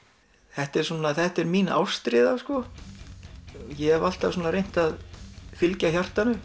þetta er þetta er mín ástríða ég hef alltaf reynt að fylgja hjartanu